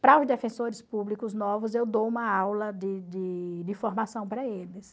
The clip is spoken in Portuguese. Para os defensores públicos novos, eu dou uma aula de de de formação para eles.